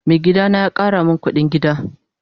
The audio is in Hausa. Mai gida na ya Kara min kudin gida.